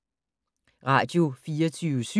Radio24syv